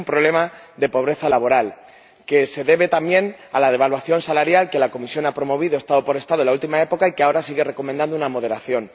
Tenemos un problema de pobreza laboral que se debe también a la devaluación salarial que la Comisión ha promovido Estado por Estado en la última época y que ahora sigue recomendando con una moderación